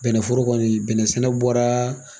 Bɛnɛforo kɔni bɛnɛ sɛnɛ bɔra